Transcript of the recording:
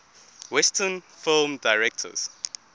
western film directors